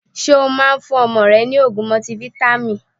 Ṣé o Máa ń fún ọmọ rẹ ni ogún mọtifáítámì?